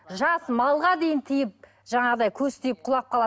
жас малға дейін тиіп жаңағыдай көз тиіп құлап қалады